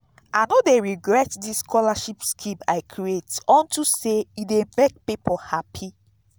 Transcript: i no dey regret dis scholarship scheme i create unto say e dey make people happy